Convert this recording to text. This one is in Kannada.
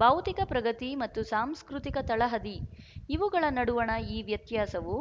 ಭೌತಿಕ ಪ್ರಗತಿ ಮತ್ತು ಸಾಂಸ್ಕೃತಿಕ ತಳಹದಿಇವುಗಳ ನಡುವಣ ಈ ವ್ಯತ್ಯಾಸವು